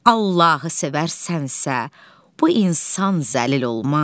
Allahı sevərsənsə, bu insan zəlil olmaz.